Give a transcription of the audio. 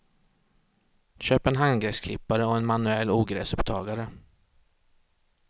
Köp en handgräsklippare och en manuell ogräsupptagare.